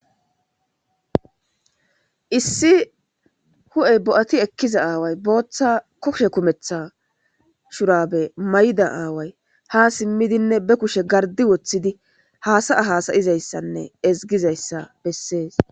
issi hu7ey bo7ati ekkiza aaway booththa koshe kumetha shurabe mayda aaway ha simmidinne be kushe gardi woththidi haasaya hasayizayssanne ezgizayssa bessees